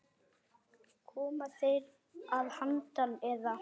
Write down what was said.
Koma þeir að handan, eða?